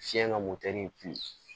Fiɲɛ ka motɛri bi